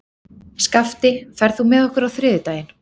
Skafti, ferð þú með okkur á þriðjudaginn?